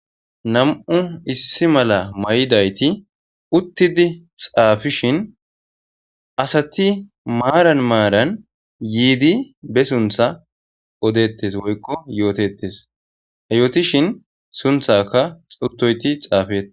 nam7u issi mala may7idayti uttidi xaafishin asati maaran maaran yiidi be suntha odettes woykko yootetes hayootishin sunthaka xutoyti xaafe